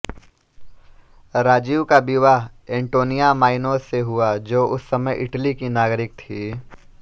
राजीव का विवाह Antonia Maino से हुआ जो उस समय इटली की नागरिक थी